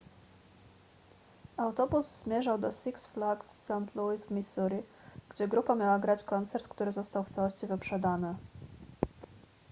autobus zmierzał do six flags st louis w missouri gdzie grupa miała grać koncert który został w całości wyprzedany